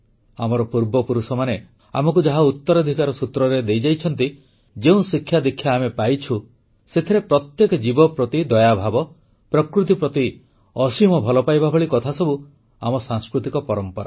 ଆମର ପୂର୍ବପୁରୁଷମାନେ ଆମକୁ ଯାହା ଉତ୍ତରାଧିକାର ସୂତ୍ରରେ ଦେଇଯାଇଛନ୍ତି ଯେଉଁ ଶିକ୍ଷାଦୀକ୍ଷା ଆମେ ପାଇଛୁ ସେଥିରେ ପ୍ରତ୍ୟେକ ଜୀବ ପ୍ରତି ଦୟାଭାବ ପ୍ରକୃତି ପ୍ରତି ଅସୀମ ଭଲପାଇବା ଭଳି କଥାସବୁ ଆମର ସାଂସ୍କୃତିକ ପରମ୍ପରା